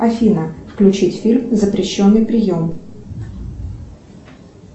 афина включить фильм запрещенный прием